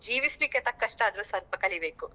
ಜೀವಿಸ್ಲಿಕ್ಕೆ ತಕ್ಕಷ್ಟಾದ್ರು ಕಲಿಬೇಕು.